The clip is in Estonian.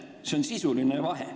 See on sisuline vahe.